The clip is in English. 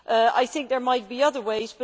I think there might be other ways.